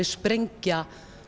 sprengja